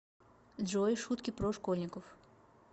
джой шутки про школьников